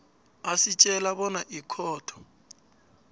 asitjela bona ikhotho